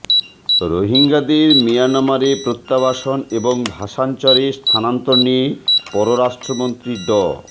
রোহিঙ্গাদের মিয়ানমারে প্রত্যাবাসন এবং ভাসানচরে স্থানান্তর নিয়ে পররাষ্ট্রমন্ত্রী ড